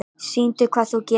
Sýndu hvað þú getur!